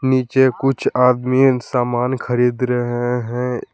नीचे कुछ आदमी सामान खरीद रहे हैं।